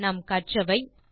நாம் கற்றவை 1